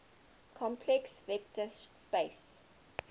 complex vector space